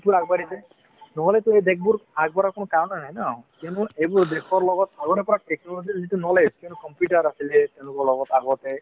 দেশবোৰ আগবাঢ়িছে নহ'লেতো এইদেশবোৰ আগবঢ়াৰ কোনো কাৰণে নাই ন কিয়নো এইবোৰ দেশৰ লগত আগৰে পৰা technology ৰ যিটো knowledge সেইটো আছে যে তেওঁলোকৰ লগত আগতে